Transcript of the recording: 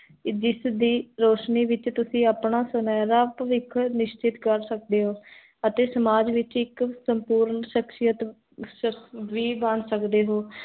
ਜਿਸ ਦੀ, ਰੋਸ਼ਨੀ ਵਿਚ, ਤੁਸੀ ਅਪਨਾ, ਸੁਨੇਹਰਾ ਭਵਿਖ ਨਿਸ਼ਚਿਤ ਕਰ ਸਕਦੇ ਹੋ ਅਤੇ ਸਮਾਜ ਵਿਚ, ਇਕ ਸੰਪੂਰਨ ਸ਼ਕਸ਼ੀਅਤ ਵੀ ਬਣ ਸਕੇਦੇ ਹੋ